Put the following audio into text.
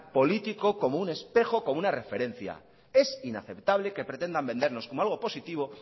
político como un espejo o como una referencia es inaceptable que pretendan vendernos como algo positivo